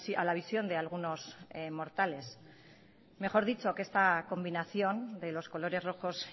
a la visión de algunos mortales mejor dicho que esta combinación de los colores rojos